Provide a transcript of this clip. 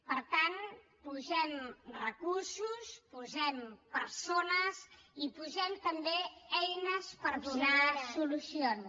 per tant hi posem recursos hi posem persones i hi posem també eines per donar solucions